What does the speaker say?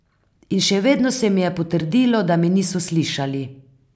In še vedno se mi je potrdilo, da me niso slišali.